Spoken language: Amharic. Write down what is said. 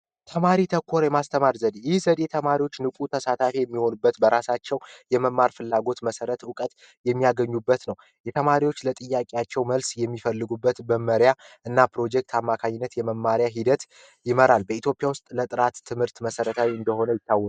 ተማሪ ተኮር የማስተማር ዘዴ ማስተማር ዘዴ ተማሪዎች ንፉ ተሳታፊ የሚሆንበት በራሳቸው የመማር ፍላጎት መሰረት እውቀት የሚያገኙበት ነው። የተማሪዎች ለጥያቄያቸው መልስ የሚፈልጉበት መመሪያ እና ፕሮጀክት አማካኝነት የመማሪያ ሂደት ይመራል በኢትዮጵያ ውስጥ ለጥራት ትምህርት መሰረታዊ እንደሆነ ይታወቃል